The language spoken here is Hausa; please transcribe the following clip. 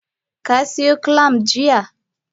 Kasiyo clamp jiya?